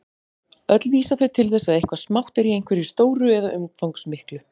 Öll vísa þau til þess að eitthvað smátt er í einhverju stóru eða umfangsmiklu.